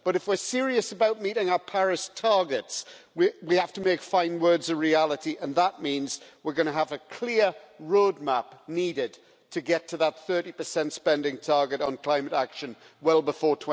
But, if we're serious about meeting our Paris targets, we have to make fine words a reality, and that means we're going to need a clear roadmap to get to that 30 spending target on climate action well before